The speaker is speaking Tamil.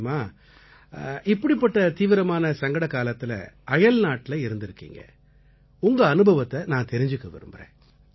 சொல்லுங்க ராம் இப்படிப்பட்ட தீவிரமான சங்கடகாலத்தில அயல்நாட்டில இருந்திருக்கீங்க உங்க அனுபவத்தை நான் தெரிஞ்சுக்க விரும்பறேன்